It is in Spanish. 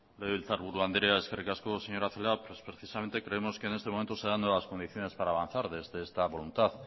legebiltzarburu andrea eskerrik asko señora celaá pues precisamente creemos que en estos momentos se dan nuevas condiciones para avanzar desde esta voluntad